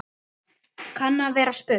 kann að vera spurt.